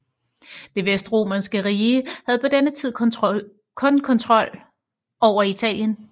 Det Vestromerske rige havde på denne tid kun kontrol over Italien